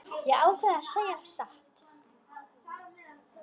Ég ákvað að segja satt.